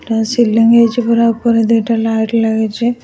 ଏଟା ସିଲିଙ୍ଗ ହେଇଛି ପୁରା ଉପରେ ଦୁଇଟା ଲାଇଟ ଲାଗିଛି ।